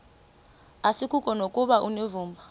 asikuko nokuba unevumba